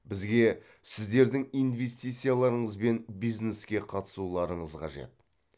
бізге сіздердің инвестицияларыңыз бен бизнеске қатысуларыңыз қажет